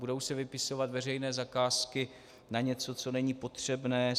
Budou se vypisovat veřejné zakázky na něco, co není potřebné.